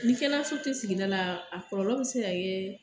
Ni kɛnɛyaso tɛ sigida la, a kɔlɔlɔ bɛ se ka kɛ